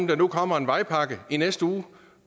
der nu kommer en vejpakke i næste uge